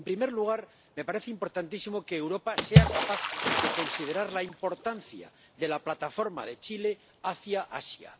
En primer lugar, me parece importantísimo que Europa sea capaz de considerar la importancia de la plataforma de Chile hacia Asia.